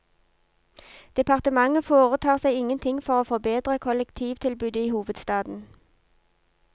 Departementet foretar seg ingenting for å forbedre kollektivtilbudet i hovedstaden.